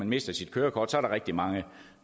mister sit kørekort er der rigtig mange